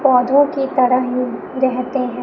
पौधों की तरह ही रेहते हैं।